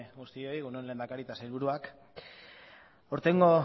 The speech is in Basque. guztioi egun on lehendakari eta sailburuak aurtengo